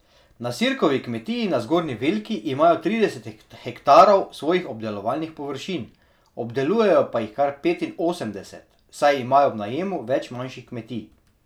Na Sirkovi kmetiji na Zgornji Velki imajo trideset hektarov svojih obdelovalnih površin, obdelujejo pa jih kar petinosemdeset, saj imajo v najemu več manjših kmetij.